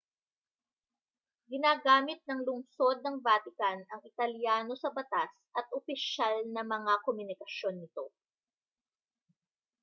ginagamit ng lungsod ng vatican ang italyano sa batas at opisyal na mga komunikasyon nito